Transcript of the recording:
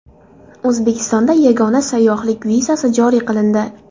O‘zbekistonda yagona sayyohlik vizasi joriy qilindi .